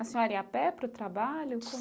A senhora ia a pé para o trabalho?